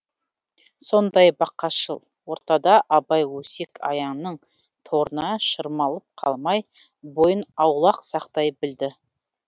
сондай бақасшыл ортада абай өсек аяңның торына шырмалып қалмай бойын аулақ сақтай білді